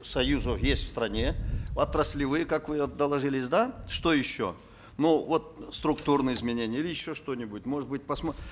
союзы есть в стране отраслевые как вы доложились да что еще ну вот структурные изменения или еще что нибудь может быть